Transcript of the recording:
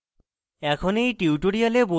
এখন এই টিউটোরিয়ালে বর্ণিত